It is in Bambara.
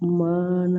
Maa